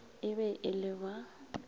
e be e le ba